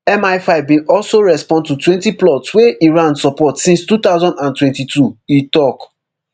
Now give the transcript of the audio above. mifive bin also respond to twenty plots wey iran support since two thousand and twenty-two e tok